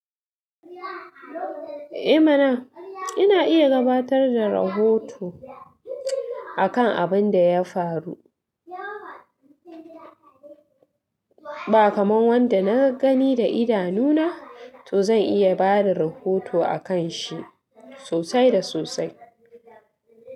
Eh mana! Ina iya gabatar da rahoto akan abin da ya faru. Ba kamar wanda na gani da idanu na, to zan iya bada rahoto a kan shi sosai da sosai.